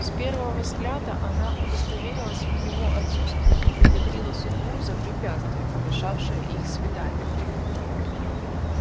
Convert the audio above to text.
с первого взгляда она удостоверилась в его отсутствии и благодарила судьбу за препятствие помешавшее их свиданию